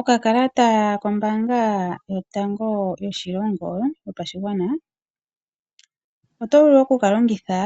Okakalata kombaanga yotango yopashigwana oyo vulu okukalongitha